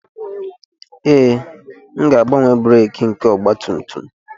Ee, m ga-agbanwe breeki nke ọgba tum tum